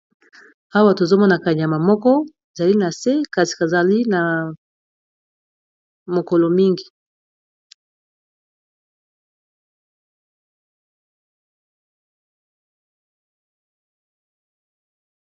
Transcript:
awa tozomona kanyama moko ezali na se kasi kazali na makolo mingi.